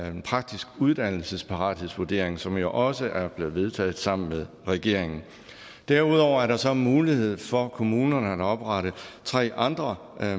en praktisk uddannelsesparathedsvurdering som jo også er blevet vedtaget sammen med regeringen derudover er der så mulighed for kommunerne for at oprette tre andre